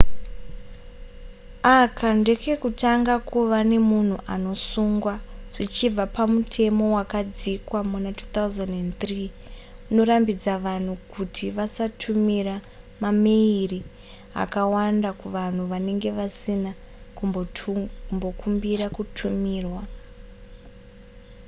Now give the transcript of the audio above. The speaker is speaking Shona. aka ndekekutanga kuva nemunhu anosungwa zvichibva pamutemo wakadzikwa muna 2003 unorambidza vanhu kuti vasatumira maimeyiri akawandisa kuvanhu vanenge vasina kumbokumbira kutumirwa